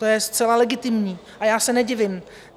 To je zcela legitimní a já se nedivím.